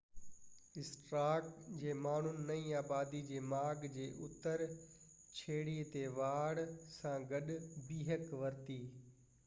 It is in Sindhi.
اسٽارڪ جي ماڻهن نئين آبادي جي ماڳ جي اتر ڇيڙي تي واڙ سان گڏ بيهڪ ورتي